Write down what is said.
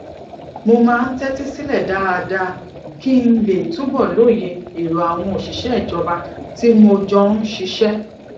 mo máa ń tẹtí sílẹ dáadáa kí n lè túbọ lóye èrò àwọn òṣìṣẹ ìjọba tí mo jọ ń ṣiṣẹ